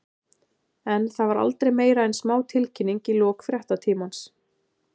En það var aldrei meira en smá tilkynning í lok fréttatímans.